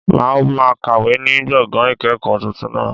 Màá ma kàwé ní gbọ̀ngàn ìkẹ̀kọ̀ọ́ tuntun náà